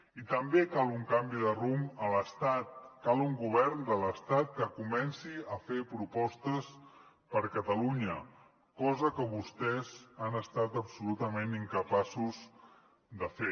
i també cal un canvi de rumb a l’estat cal un govern de l’estat que comenci a fer propostes per a catalunya cosa que vostès han estat absolutament incapaços de fer